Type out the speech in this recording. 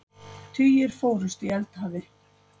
Tugir fórust í eldhafi